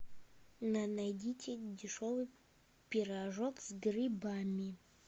найдите дешевый пирожок с грибами